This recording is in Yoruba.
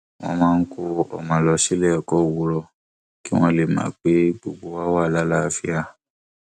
wọn máa ń kó ọmọ lọ síléẹkọ owurọ kí wọn lè mọ pé gbogbo wa wà láàlàáfíà